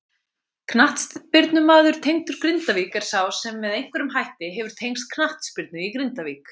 Knattspyrnumaður tengdur Grindavík er sá sem með einhverjum hætti hefur tengst knattspyrnu í Grindavík.